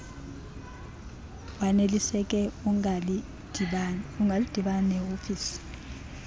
waneliseke ungadibana neofisi